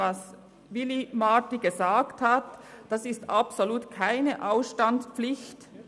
Gemäss diesem Gutachten besteht absolut keine Ausstandspflicht.